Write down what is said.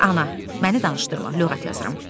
Ana, məni danışdırma, lüğət yazıram.